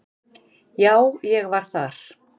Já, ég var þar.